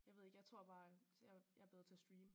Jeg ved ikke jeg tror bare jeg jeg er bedre til at streame